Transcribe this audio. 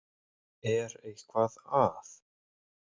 Er eitthvað að?